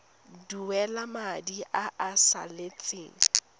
duela madi a a salatseng